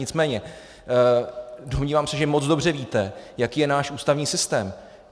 Nicméně domnívám se, že moc dobře víte, jaký je náš ústavní systém.